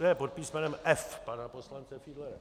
Ne - pod písmenem F pana poslance Fiedlera.